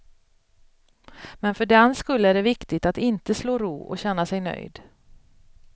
Men för den skull är det viktigt att inte slå ro och känna sig nöjd.